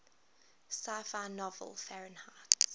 sci fi novel fahrenheit